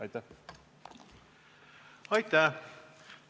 Aitäh!